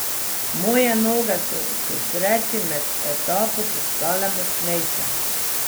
Moje noge so k sreči med etapo postale močnejše.